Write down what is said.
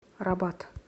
рабат